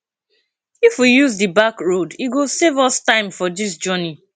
if we use di back road e go save us time for this journey